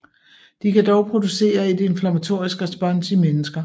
De kan dog producere et inflammatorisk respons i mennesker